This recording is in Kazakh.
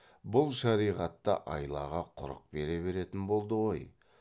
бұл шариғат та айлаға құрық бере беретін болды ғой